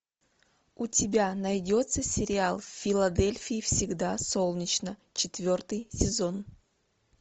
у тебя найдется сериал в филадельфии всегда солнечно четвертый сезон